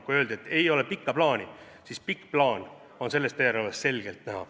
Kui öeldi, et ei ole pikka plaani, siis pikk plaan on sellest eelarvest selgelt näha.